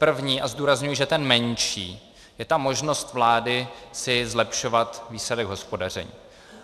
První, a zdůrazňuji, že ten menší, je ta možnost vlády si zlepšovat výsledek hospodaření.